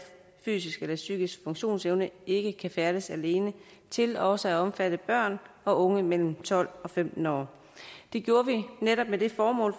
fysisk eller psykisk funktionsevne ikke kan færdes alene til også at omfatte børn og unge mellem tolv og femten år det gjorde vi netop med det formål